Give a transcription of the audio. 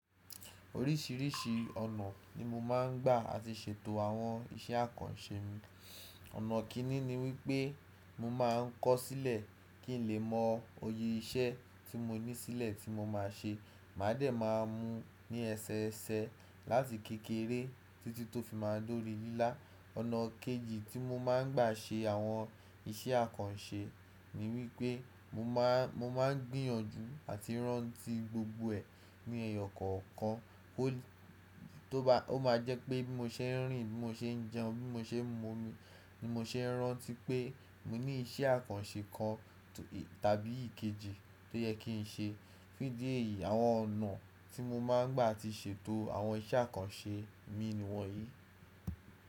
Oríṣìíríṣìí ọ̀nà ni mo máa ń gbà àti ṣètò àwọn iṣẹ́ àkànṣe mi. Ọ̀nà kiini, hni wípé mo máa ń kọ sílẹ̀ kí ń lè mọ oye iṣẹ́ tí mo ní sílẹ̀ tí mo máa ṣe. Màá dẹ̀ máa mu ní ẹsẹ ẹsẹ láti kékeré títí tó fi máa dórí lílá. Ọ̀nà kejì tí mo máa ń gbà ṣe àwọn iṣẹ́ àkànṣe ni wípé, mo máa ń gbìyànjú àti ránti gbogbo ẹ̀ ní ẹyọ̀ kọ̀ọ̀kan. Ó máa jẹ́ pé bí mo ṣe ń rìn, bí mo ṣe ń jẹun, bí mo ṣe ń momi, ni mo ṣe ń rán ti pé mo ní iṣẹ́ àkànṣe kan tàbí ìkejì tó yẹ kí n ṣe. Fun idi èyí, àwọn ọ̀nà tí mo máa ń gbà àti ṣètò àwọn iṣẹ́ àkànṣe mi, niwọn yìí.